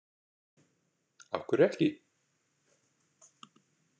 Af hverju ekki?